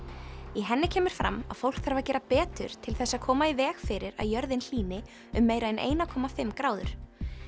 í henni kemur fram að fólk þarf að gera betur til þess að koma í veg fyrir að jörðin hlýni um meira en eina komma fimm gráður